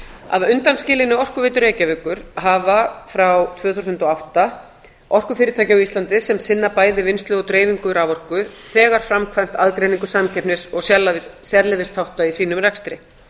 að undanskilinni orkuveitu reykjavíkur hafa frá tvö þúsund og átta orkufyrirtæki á íslandi sem sinna bæði vinnslu og dreifingu raforku þegar framkvæmd aðgreiningu samkeppnis og sérleyfisþátta í sínum rekstri